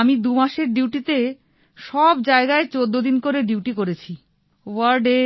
আমি দু মাসের ডিউটিতে সব জায়গায় ১৪ দিন করে ডিউটি করেছি ওয়ার্ড এ